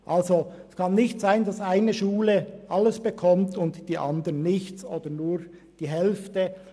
Es kann nicht sein, dass die eine Schule alles bekommt und die andere nichts oder nur die Hälfte.